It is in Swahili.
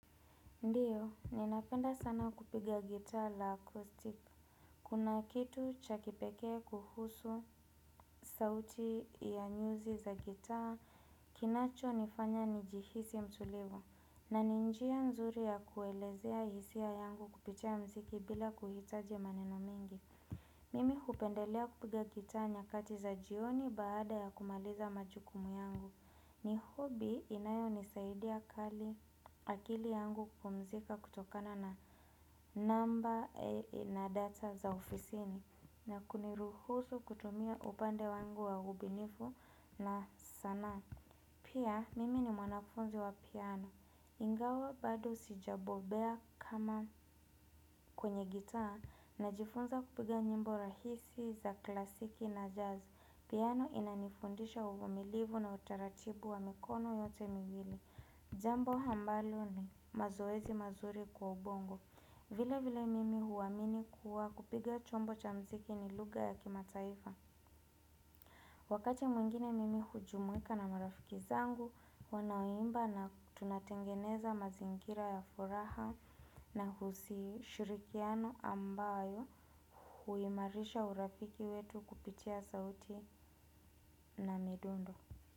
Ndiyo, ninapenda sana kupiga gitaa la acoustic. Kuna kitu cha kipekee kuhusu sauti ya nyuzi za gitaa, kinacho nifanya nijihisi mtulivu. Na ni njia nzuri ya kuelezea hisia yangu kupitia muziki bila kuhitaji maneno mingi. Mimi hupendelea kupiga gitaa nyakati za jioni baada ya kumaliza majukumu yangu. Ni hobby inayo nisaidia kali akili yangu kupumzika kutokana na namba na data za ofisini na kuniruhusu kutumia upande wangu wa ubinifu na sanaa. Pia, mimi ni mwanafunzi wa piano. Ingawa bado sijabobea kama kwenye gitaa najifunza kupiga nyimbo rahisi za klasiki na jazz. Piano inanifundisha uvumilivu na utaratibu wa mikono yote miwili. Jambo ambalo ni mazoezi mazuri kwa ubongo. Vile vile mimi huamini kuwa kupiga chombo cha muziki ni lugha ya kimataifa. Wakati mwingine mimi hujumuika na marafiki zangu, wanaoimba na tunatengeneza mazingira ya furaha na husi shirikiano ambayo huimarisha urafiki wetu kupitia sauti na midundo.